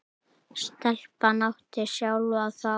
Stelpan átti sjálf að fá.